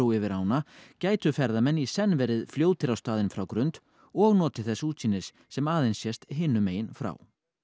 yfir ána gætu ferðamenn í senn verið fljótir á staðinn frá Grund og notið þess útsýnis sem aðeins sést hinum megin frá